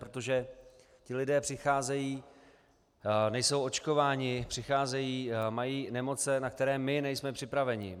Protože ti lidé přicházejí - nejsou očkováni, přicházejí, mají nemoce, na které my nejsme připraveni.